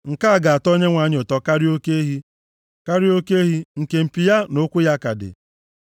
Nke a ga-atọ Onyenwe anyị ụtọ karịa oke ehi, karịa oke ehi, nke mpi ya na ụkwụ ya ka dị.